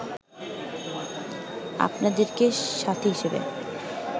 আপনাদেরকে সাথী হিসেবে